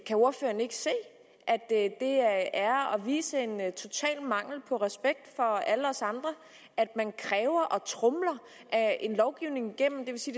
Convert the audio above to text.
kan ordføreren ikke se at det er at vise en total mangel på respekt for alle os andre at man kræver og tromler en lovgivning igennem det vil sige